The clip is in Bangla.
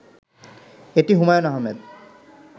এটি হুমায়ূন আহমেদ